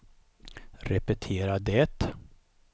repetera det